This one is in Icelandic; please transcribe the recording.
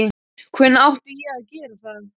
Hvenær átti ég að gera það?